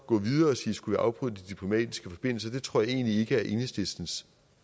gå videre og sige skulle vi afprøve de diplomatiske forbindelser jeg det tror jeg egentlig ikke er enhedslistens